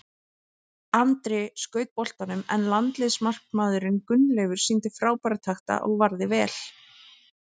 Andri skaut boltanum en landsliðsmarkmaðurinn Gunnleifur sýndi frábæra takta og varði vel.